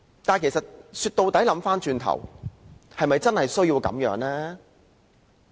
但其實說到底，回心一想，我們是否真的需要如此呢？